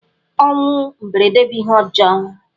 Ọnwụ mberede bụ ihe ọjọọ.